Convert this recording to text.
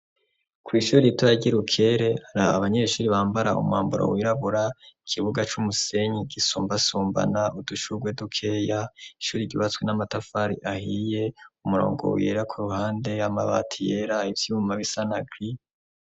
kw' ishuri ritoya ryi rukere hari abanyeshuri bambara umwamburo wirabura ikibuga c'umusenyi gisumbasumbana udushugwe duke ya ishuri gibatswe n'amatafari ahiye umurongo wira ku ruhande y'amabati yera ivyuma bisana giri